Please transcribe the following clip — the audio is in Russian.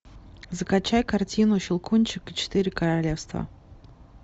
закачай картину щелкунчик четыре королевства